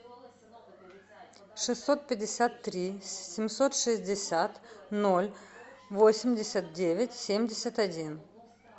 шестьсот пятьдесят три семьсот шестьдесят ноль восемьдесят девять семьдесят один